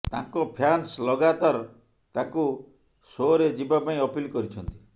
ତାଙ୍କ ଫ୍ୟାନ୍ସ ଲଗାତାର ତାଙ୍କୁ ସୋରେ ଯିବା ପାଇଁ ଅପିଲ କରିଛନ୍ତି